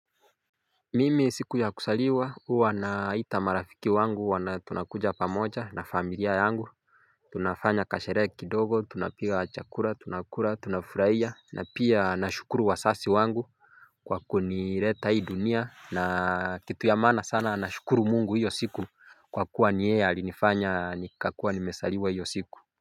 Mimi siku ya kuzaliwa huwa naita marafiki wangu tunakuja pamoja na familia yangu. Tunafanya kasherehe kidogo tunapika chakula tunakula tunafurahia na pia nashukuru wazazi wangu kwa kunileta hii dunia na kitu ya maana sana nashukuru mungu hiyo siku kwa kuwa ni yeye alinifanya nikakuwa nimezaliwa hiyo siku.